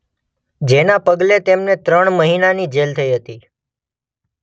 જેના પગલે તેમને ત્રણ મહિનાની જેલ થઈ હતી.